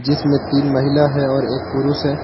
जिसमें तीन महिला है और एक पुरुष है।